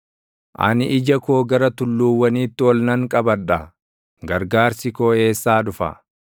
Ani ija koo gara tulluuwwaniitti ol nan qabadha; gargaarsi koo eessaa dhufa?